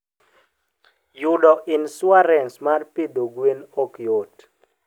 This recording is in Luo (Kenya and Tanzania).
Yudo insuarans mar pidho gwen ok yot.